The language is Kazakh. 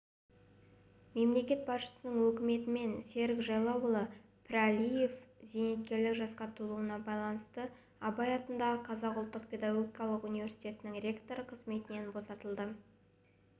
мемлекет басшысының өкімімен серік жайлауұлы пірәлиев зейнеткерлік жасқа толуына байланысты абай атындағы қазақ ұлттық педагогикалық университетінің ректоры қызметінен босатылды